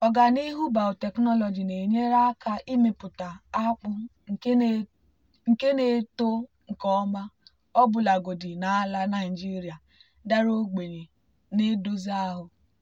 ọganihu biotechnology na-enyere aka imepụta akpụ nke na-eto nke ọma ọbụlagodi na ala naijiria dara ogbenye na-edozi ahụ.